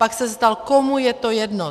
Pak se ptal - komu je to jedno?